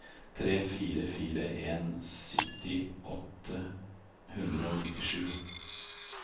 tre fire fire en sytti åtte hundre og nittisju